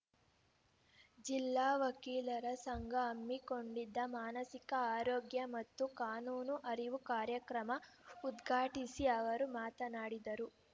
ಜಿಲ್ಲಾ ವಕೀಲರ ಸಂಘ ಹಮ್ಮಿಕೊಂಡಿದ್ದ ಮಾನಸಿಕ ಆರೋಗ್ಯ ಮತ್ತು ಕಾನೂನು ಅರಿವು ಕಾರ್ಯಕ್ರಮ ಉದ್ಘಾಟಿಸಿ ಅವರು ಮಾತನಾಡಿದರು